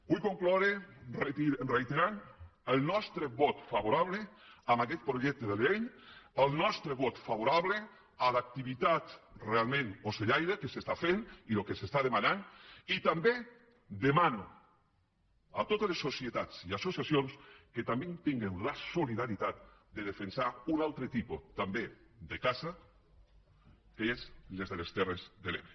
vull concloure reiterant el nostre vot favorable a aquest projecte de llei el nostre vot favorable a l’activitat realment ocellaire que s’està fent i el que s’està demanant i també demano a totes les societats i associacions que també tinguen la solidaritat de defensar un altre tipus també de caça que és la de les terres de l’ebre